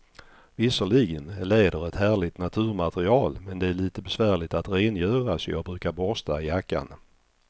Visserligen är läder ett härligt naturmaterial, men det är lite besvärligt att rengöra, så jag brukar borsta jackan.